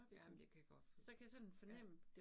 Ja, men jeg kan godt for, ja